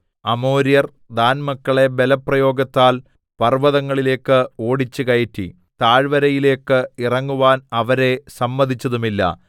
അമോര്യർ ദാൻമക്കളെ ബലപ്രയോഗത്താൽ പർവതങ്ങളിലേക്ക് ഓടിച്ചു കയറ്റി താഴ്വരയിലേക്ക് ഇറങ്ങുവാൻ അവരെ സമ്മതിച്ചതുമില്ല